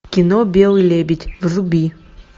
кино белый лебедь вруби